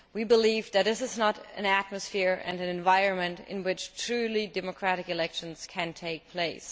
We believe that this is not an atmosphere and an environment in which truly democratic elections can take place.